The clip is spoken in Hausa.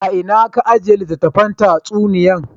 A'ina kula ajiyan littafin tatsuniya nan?